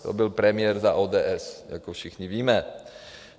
- To byl premiér za ODS, jak všichni víme.